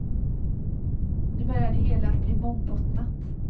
Nu börjar det hela att bli mångbottnat.